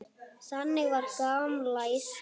Þannig var gamla Ísland.